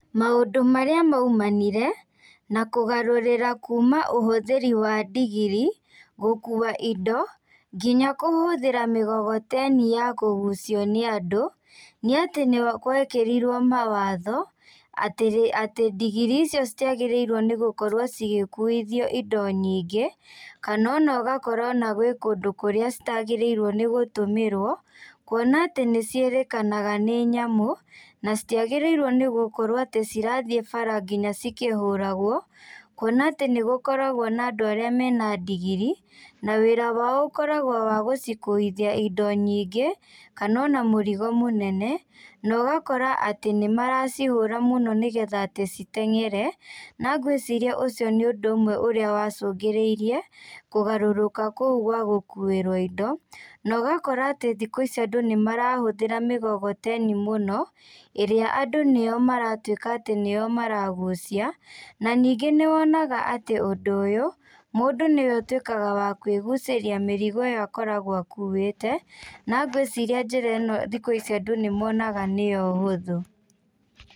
Maũndũ marĩa maumanire, na kũgarurĩra kuma ũhũthĩri wa ndigiri gũkua indo, nginya kũhũthĩra mĩgogoteni ya kũgucio nĩ andũ, nĩatĩ nĩgwekĩrirwo mawatho, atĩ rĩ atĩ ndigiri icio citiagĩrĩirwo nĩgũkorwo cigĩkuithio indo nyingĩ, kana ona ũgakora ona gwĩ kũndũ kũrĩa citagĩrĩirwo nĩgũtũmĩrwo, kuona atĩ nĩciĩrĩkanaga nĩ nyamũ, na citiagĩrĩirwo nĩ gũkorwo atĩ cirathiĩ bara nginya cikĩhũragwo, kuona atĩ nĩgũkoragwo na andũ arĩa mena ndigiri, na wĩra wao ũkoragwo wa gũcikuithia indo nyingĩ, kana ona mũrigo mũnene, na ũgakora atĩ nĩmaracihũra mũno nĩgetha atĩ citengere, na ngwĩciria ũcio nĩ ũndũ ũmwe ũrĩa wacungĩrĩirie kũgarũrũka kũu ga gũkuĩrwo indo, na ũgakora atĩ thikũ ici andũ nĩmarahũthĩra mĩgogoteni mũno, ĩrĩa andũ nĩyo maratuĩka atĩ nĩyo maragucia, na ningĩ nĩwonaga atĩ ũndũ ũyũ, mũndũ nĩ atuĩkaga wa kwĩgucĩria mĩrigo ĩyo akoragwo akuĩte, na ngwĩciria njĩra ĩno thikũ ici andũ nĩmonaga nĩyo hũthũ.